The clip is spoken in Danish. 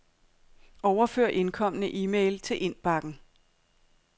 Overfør indkomne e-mail til indbakken.